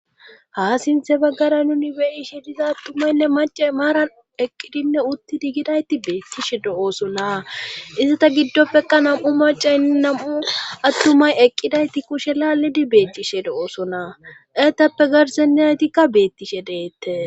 Ha sinthe baggara nuni beyishe diza attumaynne mace maaran eqqidinne uttidi gidayti beettishe do7ooso na izata giddopfeka nam7u macaynni nam7u attumay eqqidayti kushe laallidi beetcishe do7oosona eetappe garseniyaytikka beettishe deette